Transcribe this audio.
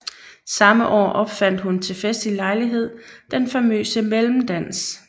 Samme år opfandt hun til festlig lejlighed den famøse mellemdans